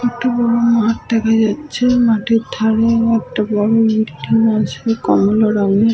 একটা বড়ো মাঠ দেখা যাচ্ছে। মাঠের ধারে একটা বড়ো বিল্ডিং আছে কমলা রংয়ের--